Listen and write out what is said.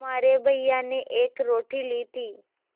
तुम्हारे भैया ने एक रोटी ली थी